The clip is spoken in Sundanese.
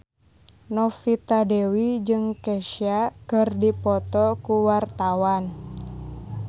Novita Dewi jeung Kesha keur dipoto ku wartawan